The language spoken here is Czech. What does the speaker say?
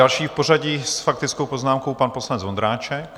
Další v pořadí s faktickou poznámkou pan poslanec Vondráček.